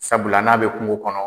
Sabula n'a bɛ kungo kɔnɔ